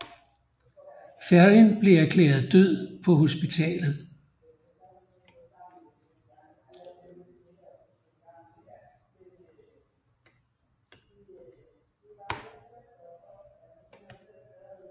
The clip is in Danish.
Ferrin blev erklæret død på hospitalet